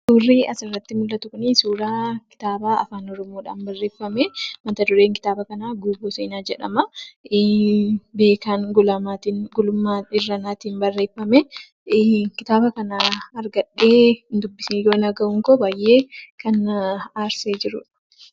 Suurri asi orratti mul'atu kuni suuraa kitaaba Afaan Oromoodhaan barreeffame. Mata-dureen kitaaba kanaa "Guuboo Seenaa" jedhama. Beekan Gulummaa Irranaatiin barreeffame. Kitaaba kana argadhee hindubbisiin har'a ga'uunkoo baay'ee kan na aarsedha.